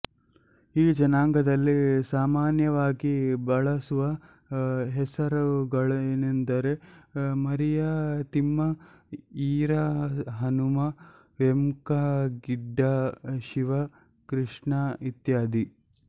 ಈ ಜನಾಂಗದಲ್ಲಿ ಸಾಮಾನ್ಯವಾಗಿ ಬಳಸುವ ಹೆಸರುಗಳೆಂದರೆ ಮರಿಯಾ ತಿಮ್ಮ ಈರ ಹನುಮ ವೆಂಕ ಗಿಡ್ಡ ಶಿವ ಕ್ರಿಷ್ಣ ಇತ್ಯಾದಿ